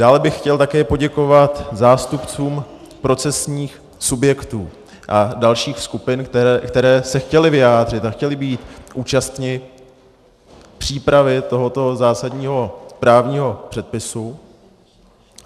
Dále bych chtěl také poděkovat zástupcům procesních subjektů a dalších skupin, které se chtěly vyjádřit a chtěly být účastny přípravy tohoto zásadního právního předpisu.